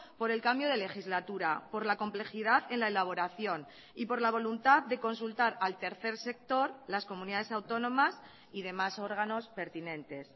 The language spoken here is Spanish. por el cambio de legislatura por la complejidad en la elaboración y por la voluntad de consultar al tercer sector las comunidades autónomas y demás órganos pertinentes